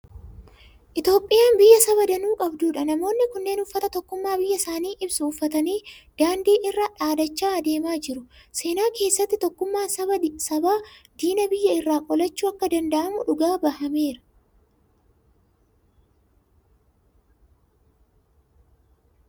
Itoophiyaan biyya saba danuu qabdudha. Namoonni kunneen uffata tokkummaa biyya isaanii ibsu uffatanii daandii irraa dhaadachaa adeemaa jiru. Seenaa keesatti tokkummaan sabaa diina biyya irraa qolachuu akka danda'amu dhugaa bahameera.